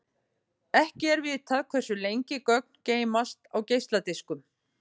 Ekki er vitað hversu lengi gögn geymast á geisladiskum.